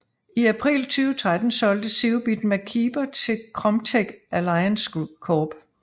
I april 2013 solgte Zeobit MacKeeper til Kromtech Alliance Corp